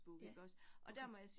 Ja, okay